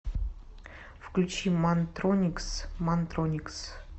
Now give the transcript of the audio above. включи мантроникс мантроникс